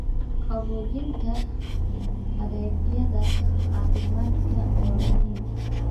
Qaboojinta adeegyada caafimaadka waa muhiim.